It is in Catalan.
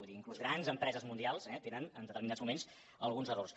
vull dir inclús grans empreses mundials tenen en determinats moments alguns errors